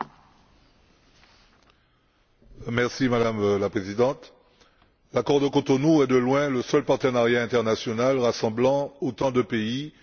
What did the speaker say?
Madame la Présidente, l'accord de Cotonou est de loin le seul partenariat international rassemblant autant de pays et couvrant un nombre aussi important de sujets.